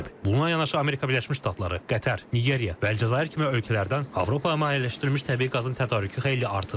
Buna yanaşı Amerika Birləşmiş Ştatları, Qətər, Nigeriya və Əlcəzair kimi ölkələrdən Avropaya mayeləşdirilmiş təbii qazın tədarükü xeyli artıb.